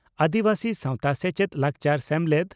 ᱟᱹᱫᱤᱵᱟᱹᱥᱤ ᱥᱟᱣᱛᱟ ᱥᱮᱪᱮᱫ ᱞᱟᱠᱪᱟᱨ ᱥᱮᱢᱞᱮᱫ